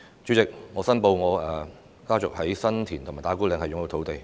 主席，我申報我家族在新田及打鼓嶺擁有土地。